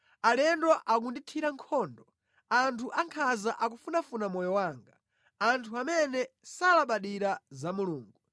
Alendo akundithira nkhondo; anthu ankhanza akufunafuna moyo wanga, anthu amene salabadira za Mulungu.